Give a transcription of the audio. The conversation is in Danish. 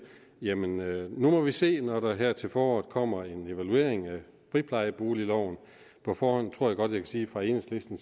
jamen nu må vi se når der her til foråret kommer en evaluering af friplejeboligloven på forhånd tror jeg godt at jeg kan sige for enhedslisten